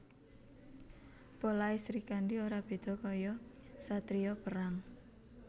Polahe Srikandhi ora beda kaya satriya perang